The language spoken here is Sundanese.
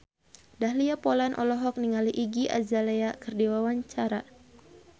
Dahlia Poland olohok ningali Iggy Azalea keur diwawancara